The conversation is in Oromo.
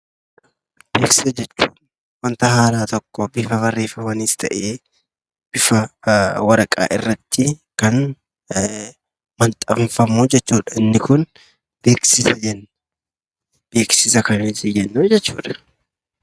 Beeksisa jechuun wanta haaraa tokko bifa barreeffamaanis ta'e, bifa waraqaa irratti kan maxxanfamu jechuudha. Isa kana beeksisa jenna.